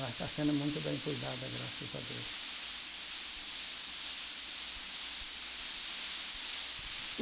Mas está sendo muito bem cuidada, graças a Deus.